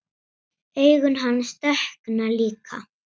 Augu hans dökkna líka.